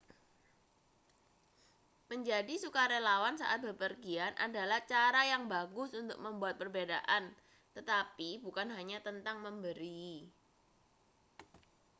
menjadi sukarelawan saat bepergian adalah cara yang bagus untuk membuat perbedaan tetapi bukan hanya tentang memberi